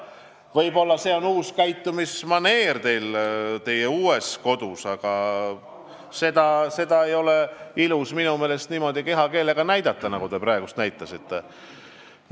Võib-olla see on teie jaoks uus käitumismaneer teie uues kodus, aga minu meelest ei ole ilus end niimoodi kehakeeles väljendada, nagu te praegu tegite.